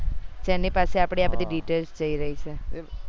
જે ને પાસે આપડી આ બધી details જયી રહી છે